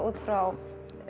út frá